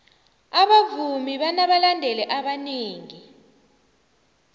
abavumi banabalandeli abanengi